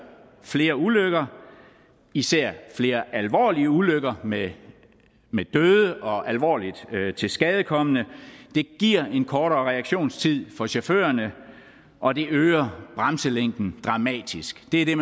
flere ulykker især flere alvorlige ulykker med med døde og alvorligt tilskadekomne den giver en kortere reaktionstid for chaufførerne og den øger bremselængden dramatisk det er det